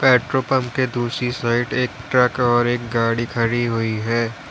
Petrol pump के दूसरे side एक ट्रक और एक गाड़ी खड़ी हुई है।